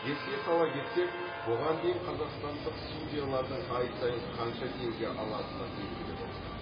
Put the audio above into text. еске сала кетек бұған дейін қазақстандық судьялардың ай сайын қанша теңге алатыны белгілі болды